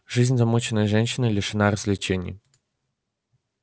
жизнь замужней женщины лишена развлечений